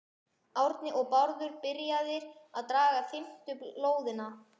Árni og Bárður byrjaðir að draga fimmtu lóðina, lóð